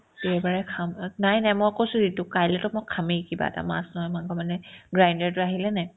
দেওবাৰে খাম but নাই নাই মই কৈছো ৰিতুক কাইলেতো মই খামে কিবা এটা মাছ নহয় মাংস মানে grinder তো আহিলেনে নাই